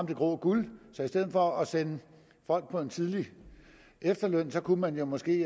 det grå guld så i stedet for at sende folk på en tidlig efterløn kunne man måske